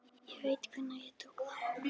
Ég veit hvenær ég tók þá ákvörðun.